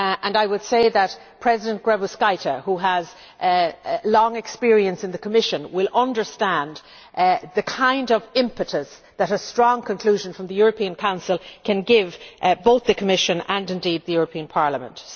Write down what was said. I would say that President Grybauskaitė, who has long experience in the Commission, will understand the kind of impetus that a strong conclusion from the European Council can give both the Commission and indeed the European Parliament.